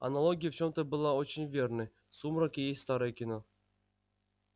аналогия в чем-то была очень верной сумрак и есть старое кино